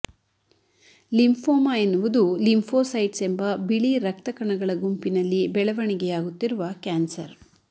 lymphoma ಎನ್ನುವುದು lymphocytes ಎಂಬ ಬಿಳಿ ರಕ್ತ ಕಣಗಳ ಗುಂಪಿನಲ್ಲಿ ಬೆಳವಣಿಗೆಯಾಗುತ್ತಿರುವ ಕ್ಯಾನ್ಸರ್